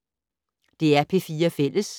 DR P4 Fælles